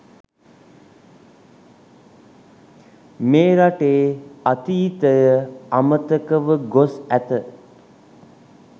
මේ රටේ අතීතය අමතකව ගොස් ඇත.